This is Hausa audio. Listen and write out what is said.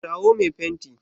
kirawo me fenti!